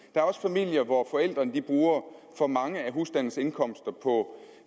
er også familier hvor forældrene bruger for meget af husstandens indkomst på